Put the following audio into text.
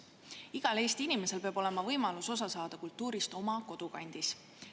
Igal Eesti inimesel peab olema võimalus kultuurist osa saada oma kodukandis.